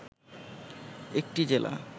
একটি জেলা